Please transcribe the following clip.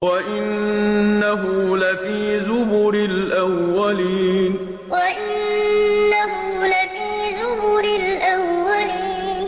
وَإِنَّهُ لَفِي زُبُرِ الْأَوَّلِينَ وَإِنَّهُ لَفِي زُبُرِ الْأَوَّلِينَ